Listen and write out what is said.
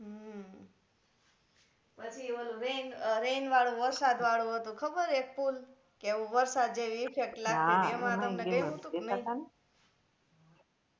હમ પછી ઓલુ rain rain વાળુ વરસાદ વાળુ હતું ખબર એક pool કે વરસાદ જેવી effect લાગતીતી